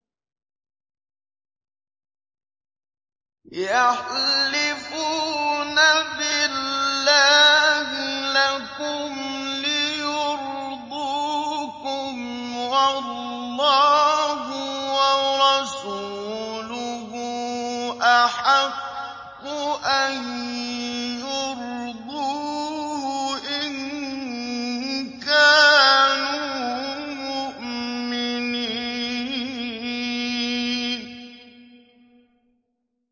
يَحْلِفُونَ بِاللَّهِ لَكُمْ لِيُرْضُوكُمْ وَاللَّهُ وَرَسُولُهُ أَحَقُّ أَن يُرْضُوهُ إِن كَانُوا مُؤْمِنِينَ